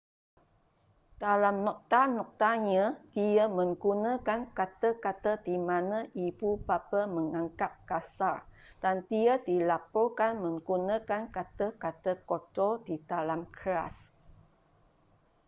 dalam nota-notanya dia menggunakan kata-kata di mana ibu bapa menganggap kasar dan dia dilaporkan menggunakan kata-kata kotor di dalam kelas